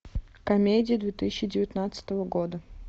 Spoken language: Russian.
комедии две тысячи девятнадцатого года